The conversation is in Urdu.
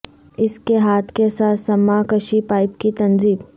اس کے ہاتھ کے ساتھ سماکشیی پائپ کی تنصیب